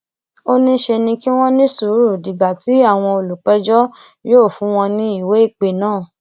ó ní ṣe ni kí wọn ní sùúrù dìgbà tí àwọn olùpẹjọ yóò fún wọn ní ìwéìpè náà